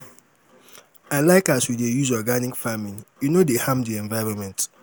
i like as we dey use organic farming e no dey harm di environment.